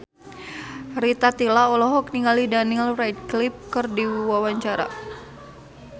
Rita Tila olohok ningali Daniel Radcliffe keur diwawancara